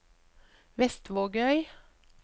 Vestvågøy